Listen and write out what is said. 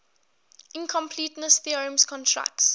incompleteness theorem constructs